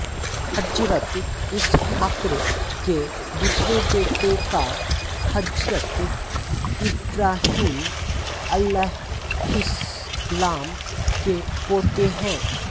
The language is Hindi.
हज़रत इसहाक्र के दूसरे बेटे और हज़रत इब्राहीम अलैहिस्सलाम के पोते हैं